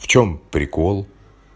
в чём прикол